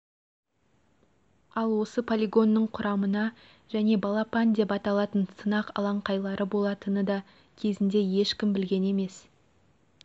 ал осы полигонның құрамына және балапан деп аталатын сынақ алаңқайлары болатыны да кезінде ешкім білген емес